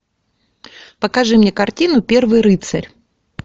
покажи мне картину первый рыцарь